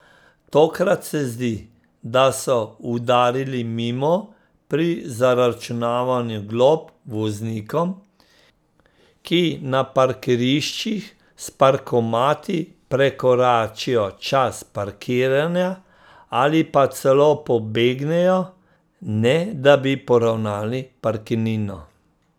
Tokrat se zdi, da so udarili mimo pri zaračunavanju glob voznikom, ki na parkiriščih s parkomati prekoračijo čas parkiranja ali pa celo pobegnejo, ne da bi poravnali parkirnino.